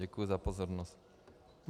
Děkuji za pozornost.